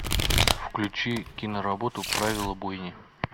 включи киноработу правила бойни